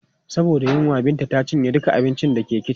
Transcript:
Saboda yunwa, Binta ta cinye duka abincin da ke kicin.